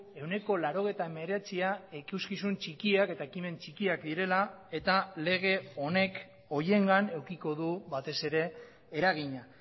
ehuneko laurogeita hemeretzia ikuskizun txikiak eta ekimen txikiak direla eta lege honek horiengan edukiko du batez ere eragina